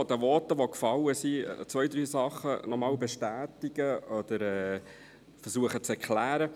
Ich bestätige nur noch zwei, drei Dinge aus den Voten oder versuche sie zu erklären.